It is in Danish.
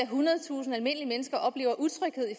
hundredtusinde almindelige mennesker oplever utryghed i